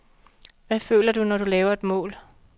Hvad føler du, når du laver et mål?